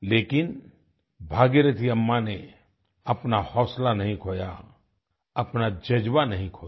लेकिन भागीरथी अम्मा ने अपना हौसला नहीं खोया अपना ज़ज्बा नहीं खोया